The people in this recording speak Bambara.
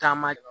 Taama